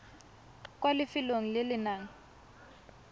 kwa lefelong le le nang